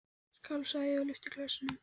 Skál, sagði ég og lyfti glasinu.